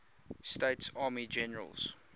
states army generals